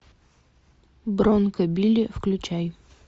бронко билли включай